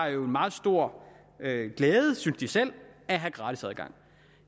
meget stor glæde af at have gratis adgang